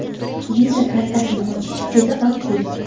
Visa kartasini ochish juda oddiy.